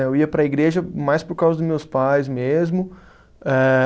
Eu ia para a igreja mais por causa dos meus pais mesmo. Eh